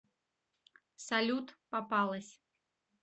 салют попалась